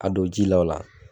A don ji la o la.